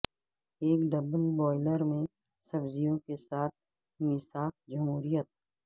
ایک double boiler میں سبزیوں کے ساتھ میثاق جمہوریت